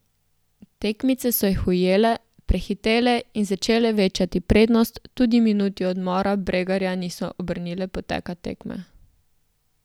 Tekmice so jih ujele, prehitele in začele večati prednost, tudi minuti odmora Bregarja niso obrnile poteka tekme.